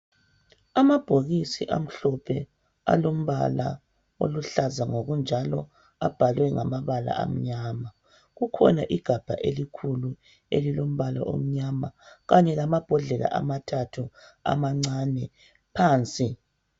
Amabhokisi amhlophe alombala oluhlaza ngokunjalo abhalwe ngama bala amnyama . Kukhona igabha elikhulu elilombala omnyama kanye lamambodlela amathathu amancane phansi.